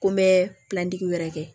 Ko n bɛ wɛrɛ kɛ